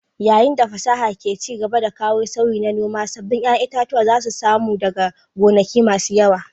Yayin da fasaha ke ci gaba da kawo sauyi na noma, sabbin ƴaƴan itatuwa zasu samu daga gonaki masu yawa